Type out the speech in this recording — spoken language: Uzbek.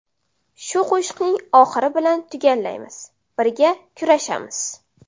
Shu qo‘shiqning oxiri bilan tugallaymiz: Birga kurashamiz!